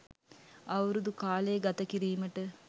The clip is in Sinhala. අවුරුදු කාලය ගත කිරීමට